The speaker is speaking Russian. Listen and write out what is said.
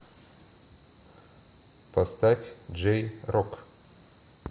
поставь джей рок